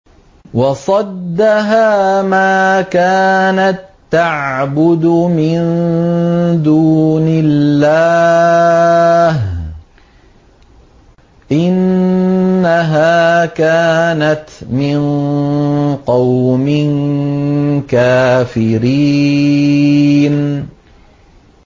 وَصَدَّهَا مَا كَانَت تَّعْبُدُ مِن دُونِ اللَّهِ ۖ إِنَّهَا كَانَتْ مِن قَوْمٍ كَافِرِينَ